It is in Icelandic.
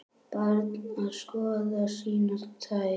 Barn að skoða sínar tær.